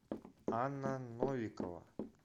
анна новикова